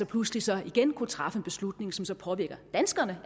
pludselig så igen kunne træffe en beslutning som så påvirker danskere